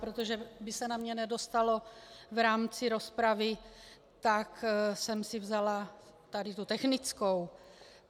Protože by se na mě nedostalo v rámci rozpravy, tak jsem si vzala tady tu technickou.